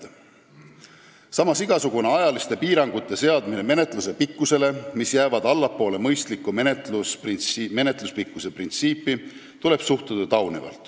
Samas tuleb suhtuda taunivalt menetluse pikkusele igasuguste ajaliste piirangute seadmisesse, kui need jäävad allapoole mõistliku menetluspikkuse printsiipi.